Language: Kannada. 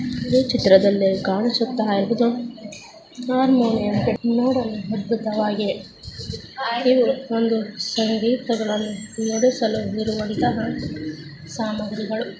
ಈ ಚಿತ್ರದಲ್ಲಿ ಕಾಣಿಸ್ತಾ ಇರುವುದು ಹಾರ್ಮೋನಿಯಂ ನೋಡಲು ಅದ್ಭುತವಾಗಿವೆ ಹಾಗೇಯೇ ಒಂದು ಸಂಗೀತ ನುಡಿಸಲು ಇರುವಂತಹ ಸಾಮಗ್ರಿಗಳು.